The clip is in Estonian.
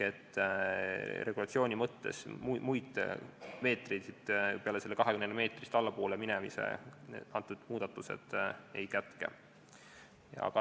Regulatsiooni mõttes muid piiranguid peale selle 24 meetri muudatused ei kätke.